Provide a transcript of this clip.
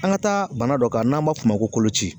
An ka taa bana dɔ kan n'an b'a f'o ma ko kolo ci.